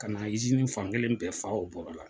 Ka na fan kelen bɛɛ fa o bɔrɔ la.